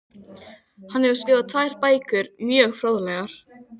Hann hefur skrifað tvær bækur, mjög fróðlegar.